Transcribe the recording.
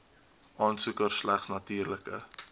aansoeker slegs natuurlike